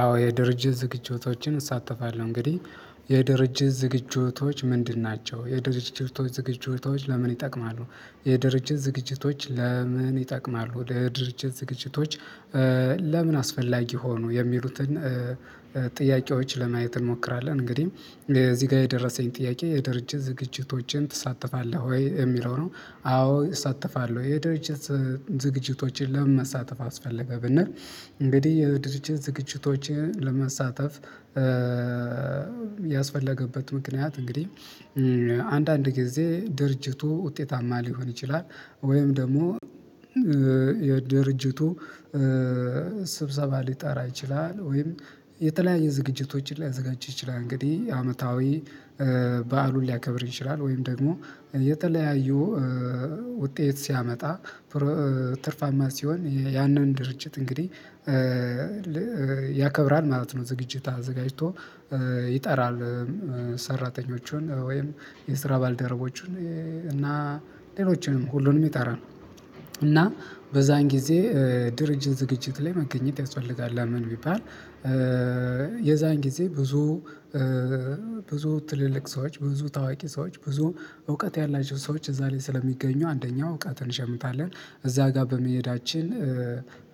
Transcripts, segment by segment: አዎ የድርጅት ዝግጅቶችን እሳተፋለሁ። እንግዲህ የድርጅት ዝግጅቶች ምንድን ናቸው? የድርጅቶች ዝግጅቶች ለምን ይጠቅማሉ? የድርጅት ዝግጅቶች ለምን ይጠቅማሉ? የድርጅት ዝግጅቶች ለምን አስፈላጊ ሆኖ የሚሉትን ጥያቄዎች ለማየት እንሞክራለን እንግዲህ እዚህ ጋር የደረሰኝ ጥያቄ የድርጅት ዝግጅቶችን ትሳተፋለህ ወይ የሚለው ነው? አዎ እሳተፋለሁ። የድርጅት ዝግጅቶችን ለመሳተፍ አስፈለገ ብንል እንግዲህ የድርጅት ዝግጅቶችን ለመሳተፍ ያስፈለገበት ምክንያት እንግዲህ አንዳንድ ጊዜ ድርጅቱ ውጤታማ ሊሆን ይችላል። ወይም ደግሞ የድርጅቱ ስብሰባ ሊጠራ ይችላል ወይም የተለያየ ዝግጅቶችን ሊያዘጋጅ ይችላል። እንግዲህ አመታዊ በዓሉን ሊያከብር ይችላል ወይም ደግሞ የተለያዩ ውጤት ሲያመጣ ትርፋማ ሲሆን ያንን ድርጅት እንግዲህ ያከብራል ማለት ነው። ዝግጅት አዘጋጅቶ ይጠራል ሰራተኞችን ወይም የስራ ባልደረቦቹን እና ሌሎችንም ሁሉንም ይጠራል። እና በዛን ጊዜ ድርጅት ዝግጅት ላይ መገኘት ያስፈልጋል። ለምን ቢባል የዛን ጊዜ ብዙ ብዙ ትልልቅ ሰዎች ብዙ ታዋቂ ሰዎች ብዙ እውቀት ያላችሁ ሰዎች እዛ ላይ ስለሚገኙ አንደኛው እውቀትን እንሸምታለን እዛ ጋር በመሄዳችን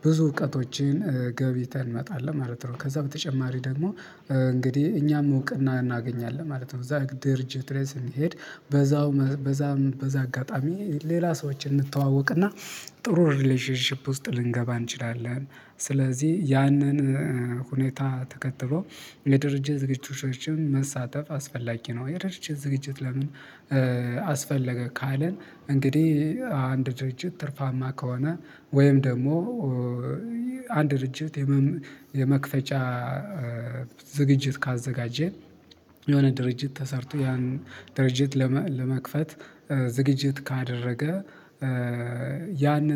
ብዙ እውቀቶችን ገብይተን እንመጣለን ማለት ነው። ከዛ በተጨማሪ ደግሞ እንግዲህ እኛም እውቅና እናገኛለን ማለት ነው። እዛ ድርጅት ላይ ስንሄድ በዛው በዛ በዛ አጋጣሚ ሌላ ሰዎችን እንተዋወቅና ጥሩ ሪሌሽንሺፕ ውስጥ ልንገባ እንችላለን። ስለዚህ ያንን ሁኔታ ተከትሎ የድርጅት ዝግጅቶችን መሳተፍ አስፈላጊ ነው። የድርጅት ዝግጅት ለምን አስፈለገ ካለን እንግዲህ አንድ ድርጅት ትርፋማ ከሆነ ወይም ደግሞ አንድ ድርጅት የመክፈጫ ዝግጅት ካዘጋጀ የሆነ ድርጅት ተሰርቶ ያን ድርጅት ለመክፈት ዝግጅት ካደረገ ያን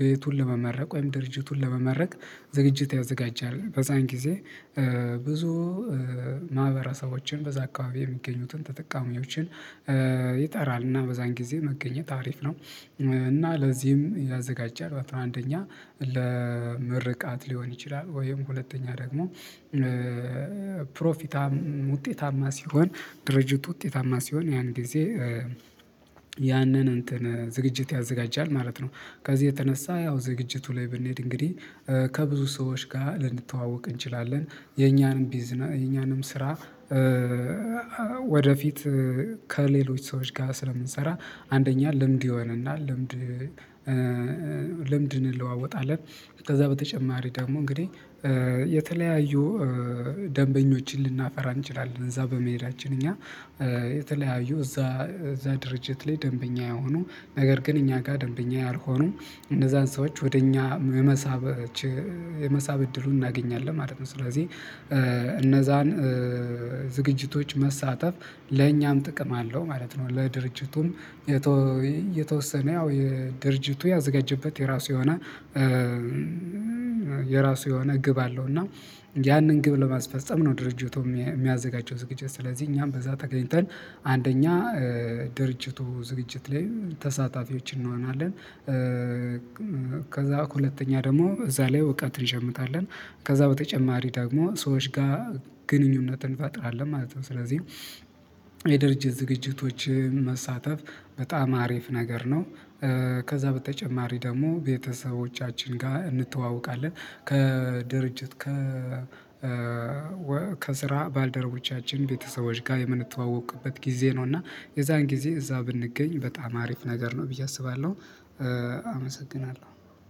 ቤቱን ለመመረቅ ወይም ድርጅቱን ለመመረቅ ዝግጅት ያዘጋጃል። በዛን ጊዜ ብዙ ማህበረሰቦችን በዛ አካባቢ የሚገኙትን ተጠቃሚዎችን ይጠራል እና በዛን ጊዜ መገኘት አሪፍ ነው። እና ለዚህም ያዘጋጀህ አንደኛ ለምርቃት ሊሆን ይችላል ወይም ሁለተኛ ደግሞ ፕሮፊት ውጤታማ ሲሆን ድርጅቱ ውጤታማ ሲሆን ያን ጊዜ ያንን እንትን ዝግጅት ያዘጋጃል ማለት ነው። ከዚህ የተነሳ ያው ዝግጅቱ ላይ ብንሄድ እንግዲህ ከብዙ ሰዎች ጋር ልንተዋወቅ እንችላለን የኛንም ቢዝነስ የኛንም ስራ ወደፊት ከሌሎች ሰዎች ጋር ስለምንሰራ አንደኛ ልምድ ይሆነናል ልምድ ልምድ እንለዋወጣለን። ከዛ በተጨማሪ ደግሞ እንግዲህ የተለያዩ ደንበኞችን ልናፈራ እንችላለን እዛ በመሄዳችን እኛ የተለያዩ እዛ እዛ ድርጅት ላይ ደንበኛ የሆኑ ነገር ግን እኛ ጋር ደንበኛ ያልሆኑ እነዛን ሰዎች ወደ እኛ የመሳብ የመሳብ እድሉን እናገኛለን ማለት ነው። ስለዚህ እነዛን ዝግጅቶች መሳተፍ ለእኛም ጥቅም አለው ማለት ነው። ለድርጅቱም የተወሰነ ያው የድርጅቱ ያዘጋጀበት የራሱ የሆነ የራሱ የሆነ ግብ አለው እና ያንን ግብ ለማስፈፀም ነው። ድርጅቱ የሚያዘጋጀው ዝግጅት ስለዚህ እኛም በዛ ተገኝተን አንደኛ ድርጅቱ ዝግጅት ላይ ተሳታፊዎች እንሆናለን ከዛ ከሁለተኛ ደግሞ እዛ ላይ እውቀት እንሸምታለን ከዛ በተጨማሪ ደግሞ ሰዎች ጋር ግንኙነትን እንፈጥራለን ማለት ነው። ስለዚህ የድርጅት ዝግጅቶች መሳተፍ በጣም አሪፍ ነገር ነው። ከዛ በተጨማሪ ደግሞ ቤተሰቦቻችን ጋር እንተዋወቃለን ከድርጅት ከ ከስራ ባልደረቦቻችን ቤተሰቦች ጋር የምንተዋወቅበት ጊዜ ነው። እና የዛን ጊዜ እዛ ብንገኝ በጣም አሪፍ ነገር ነው ብዬ አስባለሁ። አመሰግናለሁ